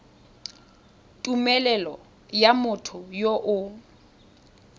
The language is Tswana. tumelelo ya motho yo o